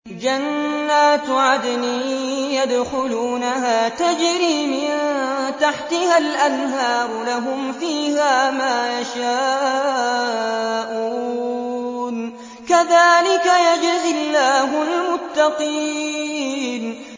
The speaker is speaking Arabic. جَنَّاتُ عَدْنٍ يَدْخُلُونَهَا تَجْرِي مِن تَحْتِهَا الْأَنْهَارُ ۖ لَهُمْ فِيهَا مَا يَشَاءُونَ ۚ كَذَٰلِكَ يَجْزِي اللَّهُ الْمُتَّقِينَ